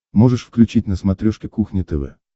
можешь включить на смотрешке кухня тв